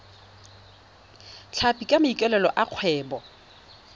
tlhapi ka maikaelelo a kgwebo